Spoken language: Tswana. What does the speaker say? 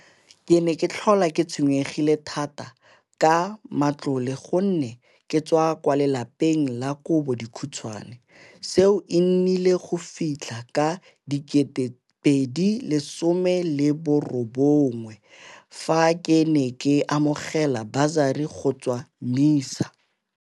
Ke ne ke tlhola ke tshwenyegile thata ka matlole gonne ke tswa kwa lapeng la kobo dikhutswane. Seo e nnile go fitlha ka 2018, fa ke amogela basari go tswa MISA.